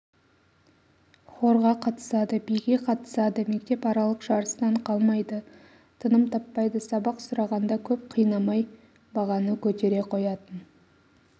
хорға қатысады биге қатысады мектепаралық жарыстан қалмайды тыным таппайды сабақ сұрағанда көп қинамай бағаны көтере қоятын